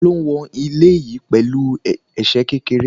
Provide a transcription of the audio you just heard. Ta ló wọn ilẹ̀ yí pẹ̀lú ẹsẹ̀ kékeré?